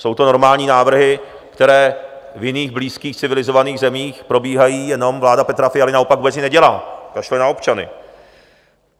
Jsou to normální návrhy, které v jiných blízkých civilizovaných zemích probíhají, jenom vláda Petra Fialy naopak vůbec nic nedělá, kašle na občany.